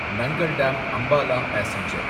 நங்கள் டேம் அம்பாலா பாசெஞ்சர்